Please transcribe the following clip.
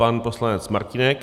Pan poslanec Martínek.